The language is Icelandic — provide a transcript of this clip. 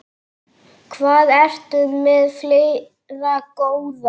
Hvað ertu með fleira, góða?